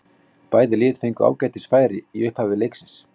Bæði lið fengu ágætis færi í upphafi leiksins.